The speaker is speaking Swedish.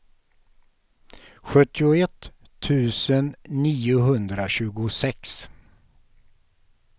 sjuttioett tusen niohundratjugosex